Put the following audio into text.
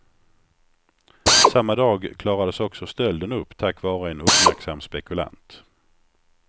Samma dag klarades också stölden upp tack vare en uppmärksam spekulant.